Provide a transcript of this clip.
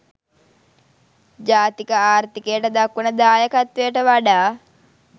ජාතික ආර්ථිකයට දක්වන දායකත්වයට වඩා